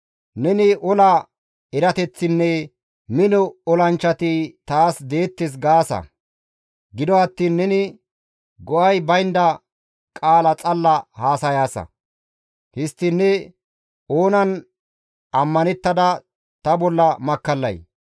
Neni ola erateththinne mino olanchchati taas deettes gaasa; gido attiin neni go7ay baynda qaala xalla haasayaasa; histtiin ne oonan ammanettada ta bolla makkallay?